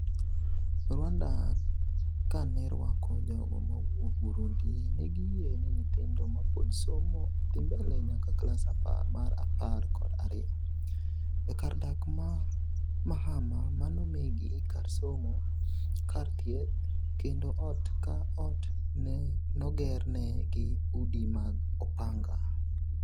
Rwanda kanerwako jogo mowuok Burundi, negiyie ni nyithindo mapod somo odhi mbele nyaka klass mar apar kod ariyo, e kar dak ma Mahama nomiigi kar somo, kar thieth, kendo ot ka ot nogerne gi udi mag opanga.